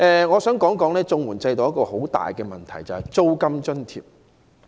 我想談談綜援制度中一個很大的問題，就是租金津貼。